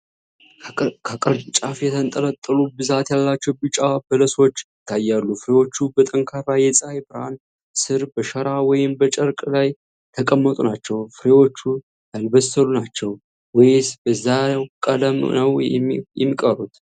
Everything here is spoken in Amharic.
ከቅርንጫፍ የተንጠለጠሉ ብዛት ያላቸው ቢጫ በለሶች ይታያሉ። ፍሬዎቹ በጠንካራ የፀሐይ ብርሃን ስር በሸራ ወይም በጨርቅ ላይ የተቀመጡ ናቸው። ፍሬዎቹ ያልበሰሉ ናቸው ወይስ በዛው ቀለም ነው የሚቀሩት?